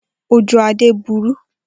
Oju Ade buru.